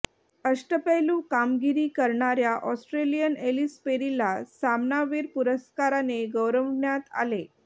अष्टपैलू कामगिरी करणाऱया ऑस्ट्रेलियन एलिस पेरीला सामनावीर पुरस्काराने गौरवण्यात आले